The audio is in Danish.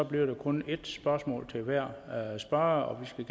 bliver der kun ét spørgsmål til hver spørger og vi